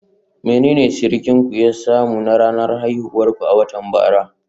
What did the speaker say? Menene surukinku ya samu na ranar haihuwar ku a watan jiya?